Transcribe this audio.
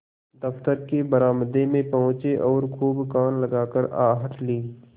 दफ्तर के बरामदे में पहुँचे और खूब कान लगाकर आहट ली